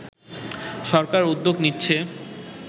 সরকার উদ্যোগ নিচ্ছে